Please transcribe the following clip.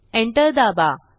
enter दाबा